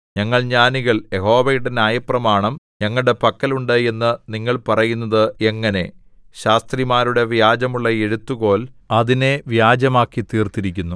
ഞങ്ങൾ ജ്ഞാനികൾ യഹോവയുടെ ന്യായപ്രമാണം ഞങ്ങളുടെ പക്കൽ ഉണ്ട് എന്ന് നിങ്ങൾ പറയുന്നത് എങ്ങനെ ശാസ്ത്രിമാരുടെ വ്യാജമുള്ള എഴുത്തുകോൽ അതിനെ വ്യാജമാക്കിത്തീർത്തിരിക്കുന്നു